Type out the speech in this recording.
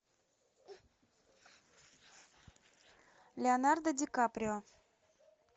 леонардо ди каприо